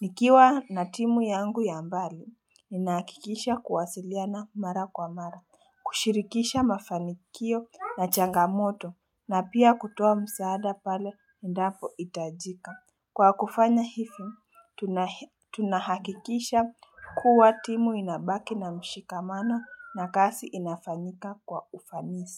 Nikiwa na timu yangu ya mbali, ninahakikisha kuwasiliana mara kwa mara, kushirikisha mafanikio na changamoto na pia kutoa msaada pale endapohitajika. Kwa kufanya hivi, tunahakikisha kuwa timu inabaki na mshikamano na kazi inafanyika kwa ufanisi.